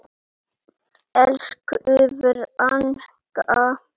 Elsku frænka.